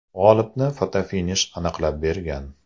G‘olibni fotofinish aniqlab bergan.